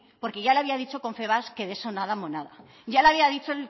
porque ya le había dicho confebask que de eso nada monada ya le había dicho